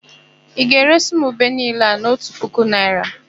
Ị ga-eresị m ube niile a n'ọnụ otu puku naịra?